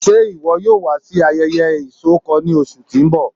Ṣe iwọ yoo wa si ayẹyẹ isọkọ ni oṣu ti n bọ?